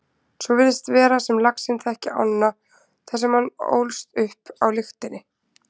Svo virðist vera sem laxinn þekki ána þar sem hann ólst upp á lyktinni.